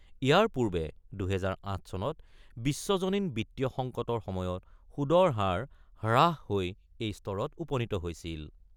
ইয়াৰ পূৰ্বে ২০০৮ চনত বিশ্বজনীন বিত্তীয় সংকটৰ সময়ত সুদৰ হাৰ হ্ৰাস হৈ এই স্তৰত উপনীত হৈছিল।